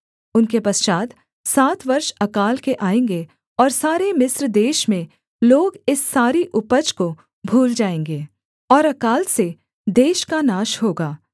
उनके पश्चात् सात वर्ष अकाल के आएँगे और सारे मिस्र देश में लोग इस सारी उपज को भूल जाएँगे और अकाल से देश का नाश होगा